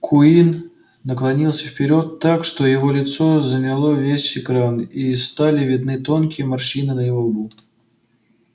куинн наклонился вперёд так что его лицо заняло весь экран и стали видны тонкие морщины на его лбу